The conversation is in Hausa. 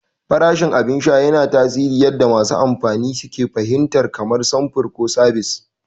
Farashin abin sha yana tasiri yadda masu amfani ke fahimtar ƙimar samfur ko sabis.